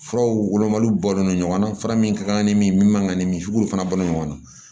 Furaw wolomaliw bɔlen don ɲɔgɔn na fara min kan ni min man kan ka ni misibo fana bɔ ɲɔgɔn na